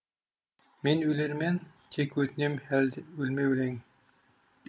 мен өлермен тек өтінем өлме өлең